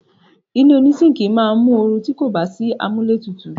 Ilé oní síńkì máa mu oru ti kò bá sí amúlé tutù.